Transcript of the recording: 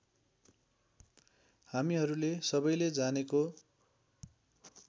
हामीहरूले सबैले जानेको